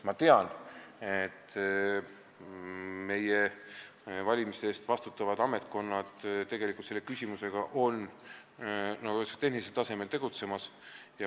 Ma tean, et meie valimiste eest vastutavad ametkonnad on selle küsimusega, nagu öeldakse, tehnilisel tasemel tegutsemas.